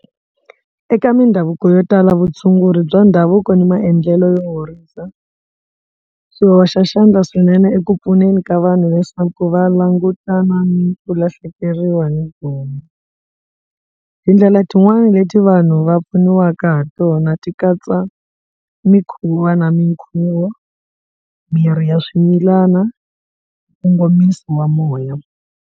Eka mindhavuko yo tala vutshunguri bya ndhavuko ni maendlelo yo horisa swi hoxa xandla swinene eku pfuneni ka vanhu leswaku va langutana ni ku lahlekeriwa ni gome tindlela tin'wani leti vanhu va pfuniwaka ha tona ti katsa mikhuva na minkhuvo miri ya swimilana nkongomiso wa moya.